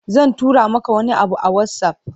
Zan tura maka wani abu a WhatsApp.